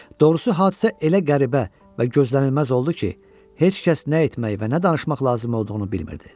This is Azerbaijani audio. Doğrusu hadisə elə qəribə və gözlənilməz oldu ki, heç kəs nə etmək və nə danışmaq lazım olduğunu bilmirdi.